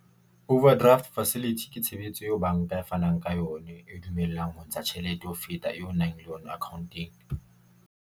Overdraft facility ke tshebetso eo banka e fanang ka yone, e dumellang ho ntsha tjhelete ho feta eo nang le yona account-eng.